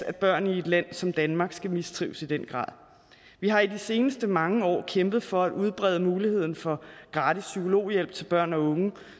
at børn i et land som danmark skal mistrives i den grad vi har i de seneste mange år kæmpet for at udbrede muligheden for gratis psykologhjælp til børn og unge